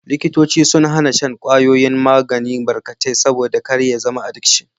Likitoci sun hana shan kwayoyin magani barkatai, saboda kar ya zama adikshin.